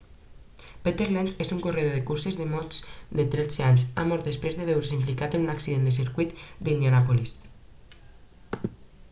peter lenz un corredor de curses de motos de 13 anys ha mort després de veure's implicat en un accident al circuit d'indianàpolis